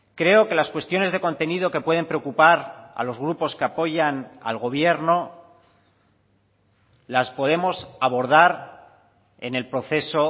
creo que las cuestiones de contenido que pueden preocupar a los grupos que apoyan al gobierno las podemos abordar en el proceso